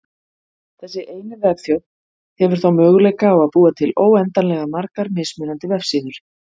Þessi eini vefþjónn hefur þá möguleika á að búa til óendanlega margar mismunandi vefsíður.